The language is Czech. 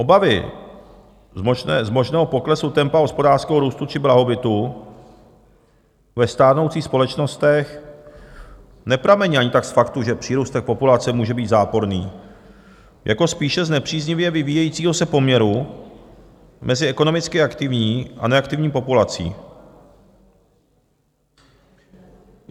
Obavy z možného poklesu tempa hospodářského růstu či blahobytu ve stárnoucích společnostech nepramení ani tak z faktu, že přírůstek populace může být záporný, jako spíše z nepříznivě vyvíjejícího se poměru mezi ekonomicky aktivní a neaktivní populací.